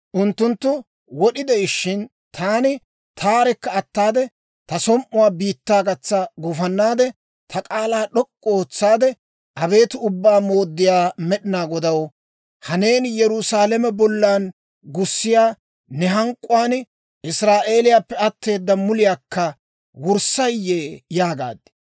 Unttunttu wod'i de'ishshin, taani taarekka ataade, ta som"uwaa biittaa gatsa gufannaade, ta k'aalaa d'ok'k'u ootsaade, «Abeet Ubbaa Mooddiyaa Med'inaa Godaw, ha neeni Yerusaalame bollan gussiyaa ne hank'k'uwaan, Israa'eeliyaappe atteeda muliyaakka wurssaayye?» yaagaad.